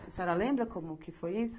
A senhora lembra como que foi isso?